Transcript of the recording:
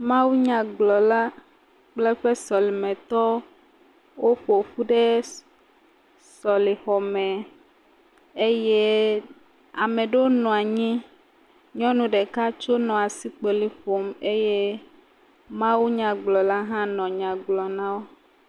Mawunyagblɔla kple eƒe sɔlimetɔwo woƒo ƒu ɖe sɔlixɔ me eye ame ɖewo nɔ anyi. Nyɔnu ɖeka tso nɔ asikpoli ƒom eye mawunyagblɔla hã nɔ nya gblɔm na wo.